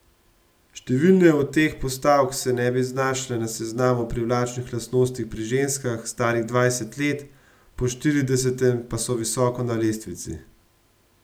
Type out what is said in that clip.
Številne od teh postavk se ne bi znašle na seznamu privlačnih lastnosti pri ženskah, starih dvajset let, po štiridesetem pa so visoko na lestvici.